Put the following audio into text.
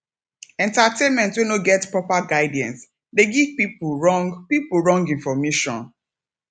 entertainment wey no get proper guidance de give pipo wrong pipo wrong information